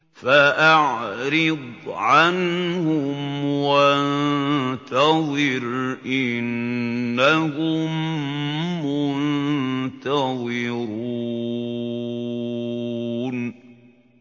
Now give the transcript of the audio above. فَأَعْرِضْ عَنْهُمْ وَانتَظِرْ إِنَّهُم مُّنتَظِرُونَ